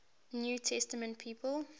new testament people